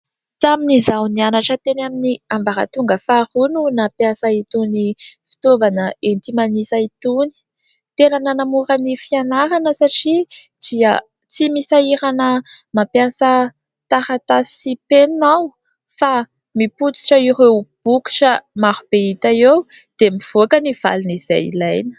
Tamin'izaho nianatra teny amin'ny ambaratonga faharoa no nampiasa itony fitaovana enti-manisa itony, tena nanamora ny fianarana satria dia tsy misahirana mampiasa taratasy sy penina aho fa mipotsitra ireo bokotra maro be hita eo dia mivoaka ny valiny izay ilaina.